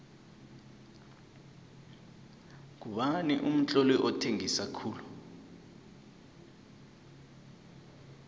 ngubani umtloli othengisa khulu